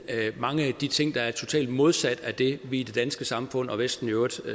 mange af de ting der er totalt modsat af det vi i det danske samfund og vesten i øvrigt